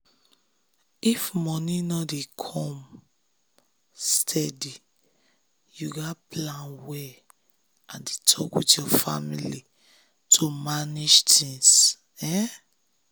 if money no dey come um steady you gats plan well and dey talk with family to manage things.